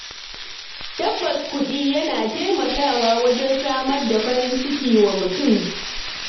Tabbas, kuɗi yana taimakawa wajen samar da farin ciki wa mutum.